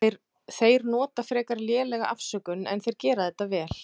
Þeir nota frekar lélega afsökun en þeir gera þetta vel.